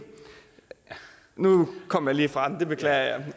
nu kom jeg lige fra det det beklager jeg